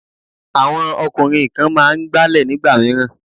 Àwọn ọkùnrin kan máa ń Agbálẹ̀ nígbà mìíràn.